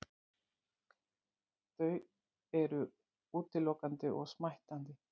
Þau eru útilokandi og smættandi.